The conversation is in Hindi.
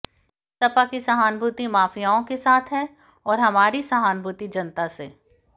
सपा की सहानुभूति माफ़ियाओं के साथ है और हमारी सहानुभूति जनता से